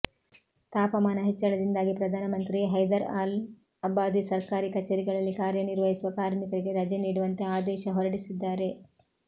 ತಾಪಮಾನ ಹೆಚ್ಚಳದಿಂದಾಗಿ ಪ್ರಧಾನಮಂತ್ರಿ ಹೈದರ್ ಅಲ್ ಅಬಾದಿ ಸರ್ಕಾರಿ ಕಚೇರಿಗಳಲ್ಲಿ ಕಾರ್ಯನಿರ್ವಹಿಸುವ ಕಾರ್ಮಿಕರಿಗೆ ರಜೆ ನೀಡುವಂತೆ ಆದೇಶ ಹೊರಡಿಸಿದ್ದಾರೆ